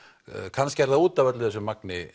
kannski er það út af öllu þessu magni